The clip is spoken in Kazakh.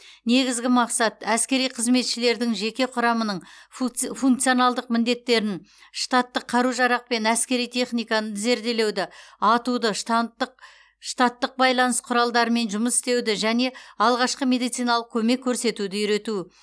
негізгі мақсат әскери қызметшілердің жеке құрамының функционалдық міндеттерін штаттық қару жарақ пен әскери техниканы зерделеуді атуды штаттық байланыс құралдарымен жұмыс істеуді және алғашқы медициналық көмек көрсетуді үйрету